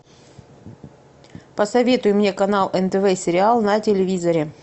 посоветуй мне канал нтв сериал на телевизоре